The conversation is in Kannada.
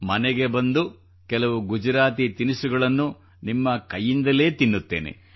ಮನೆಗೆ ಬಂದು ಕೆಲವು ಗುಜರಾತಿ ತಿನಿಸುಗಳನ್ನು ನಿಮ್ಮ ಕೈಯಿಂದಲೇ ತಿನ್ನುತ್ತೇನೆ